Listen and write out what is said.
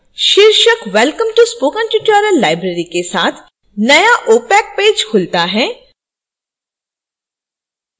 शीर्षक welcome to spoken tutorial library के साथ नया opac पेज खुलता है